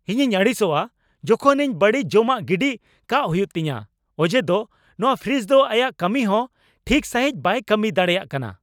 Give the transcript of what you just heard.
ᱤᱧᱤᱧ ᱟᱹᱲᱤᱥᱚᱜᱼᱟ ᱡᱚᱠᱷᱚᱱ ᱤᱧ ᱵᱟᱹᱲᱤᱡ ᱡᱚᱢᱟᱜ ᱜᱤᱰᱤ ᱠᱟᱜ ᱦᱩᱭᱩᱜ ᱛᱤᱧᱟᱹ ᱚᱡᱮᱫᱚ ᱱᱚᱶᱟ ᱯᱨᱤᱡᱽ ᱫᱚ ᱟᱭᱟᱜ ᱠᱟᱹᱢᱤ ᱦᱚᱸ ᱴᱷᱤᱠ ᱥᱟᱹᱦᱤᱡ ᱵᱟᱭ ᱠᱟᱹᱢᱤ ᱫᱟᱲᱮᱭᱟᱜ ᱠᱟᱱᱟ ᱾